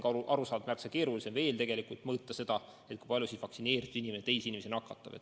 Ja arusaadavalt on märksa keerulisem kindlaks teha, kui palju vaktsineeritud inimene teisi inimesi nakatab.